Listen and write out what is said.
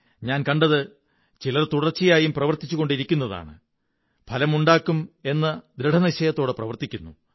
ഞാൻ കണ്ടത് ചിലർ തുടര്ച്ച യായും പ്രവര്ത്തിുച്ചുകൊണ്ടിരിക്കുന്നതാണ് ഫലമുണ്ടാക്കും എന്ന് ദൃഢനിശ്ചയത്തോടെ പ്രവര്ത്തിാക്കുന്നു